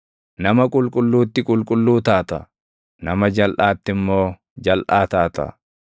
Nama qulqulluutti qulqulluu taata; nama jalʼaatti immoo jalʼaa taata.